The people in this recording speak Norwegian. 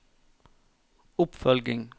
oppfølging